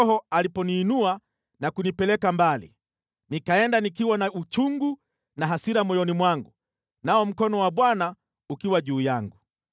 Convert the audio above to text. Ndipo Roho aliponiinua na kunipeleka mbali. Nikaenda nikiwa na uchungu na hasira moyoni mwangu, nao mkono wa Bwana ukiwa juu yangu.